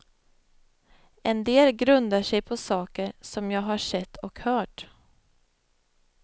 En del grundar sig på saker som jag har sett och hört.